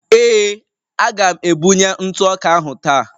Ee, a ga-ebunye ntụ ọka ahụ taa